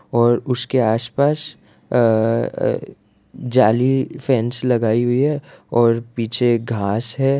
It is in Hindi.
और उसके आस-पास अअ अ जाली फैंस लगाई हुई है और पीछे एक घास है।